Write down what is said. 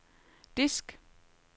disk